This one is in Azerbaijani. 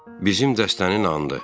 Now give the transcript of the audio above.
Bizim dəstənin anıdır.